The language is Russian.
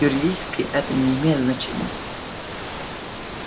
юридически это не имеет значения